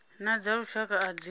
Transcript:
na dza lushaka a dzi